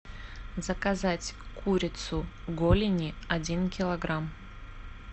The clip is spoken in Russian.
заказать курицу голени один килограмм